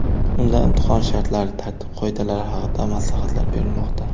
Unda imtihon shartlari, tartib-qoidalari haqida maslahatlar berilmoqda.